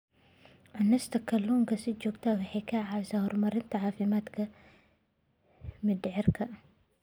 Cunista kalluunka si joogto ah waxay caawisaa horumarinta caafimaadka mindhicirka.